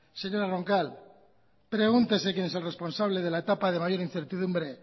señora roncal pregúntese quién es el responsable de la etapa de mayor incertidumbre